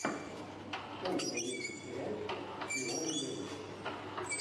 что у тебя есть из сериальчиков с виолой девис